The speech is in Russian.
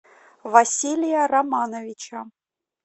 василия романовича